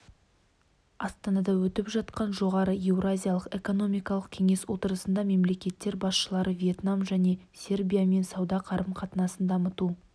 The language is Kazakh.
астанада өтіп жатқан жоғары еуразиялық экономикалық кеңес отырысында мемлекеттер басшылары вьетнам және сербиямен сауда қарым-қатынасын дамыту